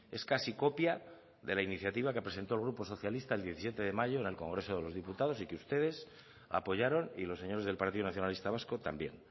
es casi copia de la iniciativa que presentó el grupo socialista el diecisiete de mayo en el congreso de los diputados y que ustedes apoyaron y los señores del partido nacionalista vasco también